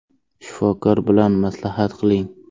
Shifokor bilan maslahat qiling”.